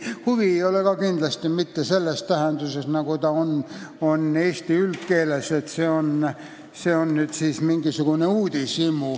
"Huvi" ei ole siin ka kindlasti mitte selle tähendusega, nagu see on eesti üldkeeles, kus see tähendab mingisugust uudishimu.